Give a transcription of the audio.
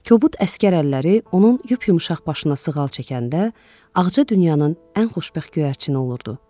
Kobud əsgər əlləri onun yup-yumşaq başına sığal çəkəndə, ağca dünyanın ən xoşbəxt göyərçini olurdu.